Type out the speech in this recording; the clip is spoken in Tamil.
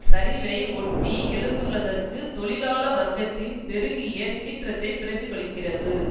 சரிவை ஒட்டி எழுந்துள்ளதற்கு தொழிலாள வர்க்கத்தின் பெருகிய சீற்றத்தைப் பிரதிபலிக்கிறது